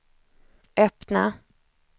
öppna